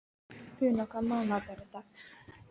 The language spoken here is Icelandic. Una, hvaða mánaðardagur er í dag?